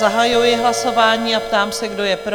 Zahajuji hlasování a ptám se, kdo je pro?